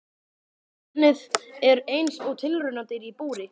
Barnið er eins og tilraunadýr í búri.